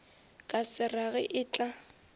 ka se rage e tla